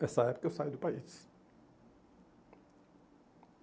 Nessa época, eu saí do país.